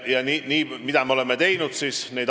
Mida me oleme teinud?